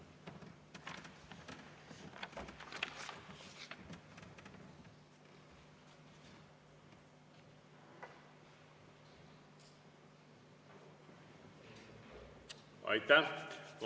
Aitäh!